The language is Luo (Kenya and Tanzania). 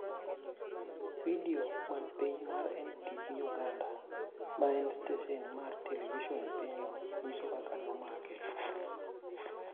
Vidio man piny mar NTV Uganda, ma en stesen mar televison e pinyno, nyiso kaka ne omake.